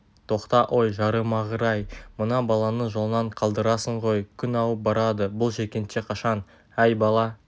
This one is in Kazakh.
тоқта ой жарымағыр-ай мына баланы жолынан қалдырасың ғой күн ауып барады бұл жеткенше қашан әй бала